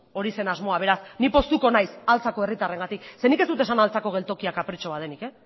hori zen asmoa beraz ni postuko altzako herritarrengatik zeren nik ez dut esan altzako geltokia kapritxo bat denik